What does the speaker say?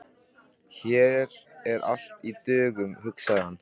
Hér er allt í dögun, hugsaði hann.